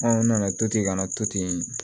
n nana to ten ka na to ten